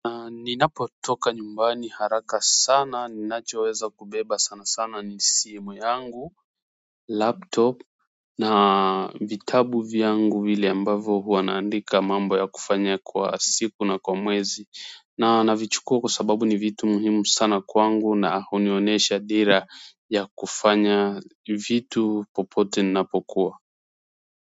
Ninapo toka nyumbani haraka sana ninachoweza kubeba sana sana ni simu yangu laptop na vitabu vyangu vile ambavyo huwa na andika mambo ya kufanya kwa siku na kwa mwezi na navichukua kwa sababu ni vitu muhimu sana kwangu na hunionyesha dira ya kufanya vitu popote ninapokuwa.